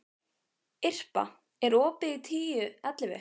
Irpa, er opið í Tíu ellefu?